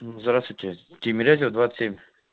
здравствуйте тимирязева двадцать семь